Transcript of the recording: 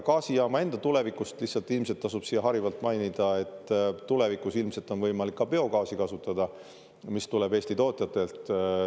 Gaasijaama enda tulevikust: siin tasub harivalt mainida, et tulevikus ilmselt on võimalik kasutada ka biogaasi, mis tuleb Eesti tootjatelt.